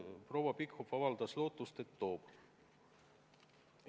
Proua Pikhof avaldas lootust, et toob.